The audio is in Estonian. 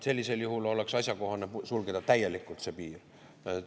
Sellisel juhul oleks asjakohane see piir täielikult sulgeda.